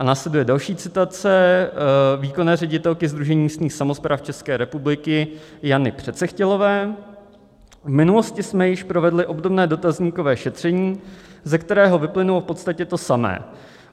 A následuje další citace výkonné ředitelky Sdružení místních samospráv České republiky Jany Přecechtělové: "V minulosti jsme již provedli obdobné dotazníkové šetření, ze kterého vyplynulo v podstatě to samé.